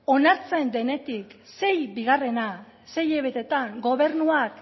onartzen denetik sei bigarrena sei hilabetetan gobernuak